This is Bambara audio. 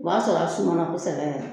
O b'a sɔrɔ a sumana kosɛbɛ